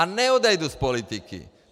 A neodejdu z politiky!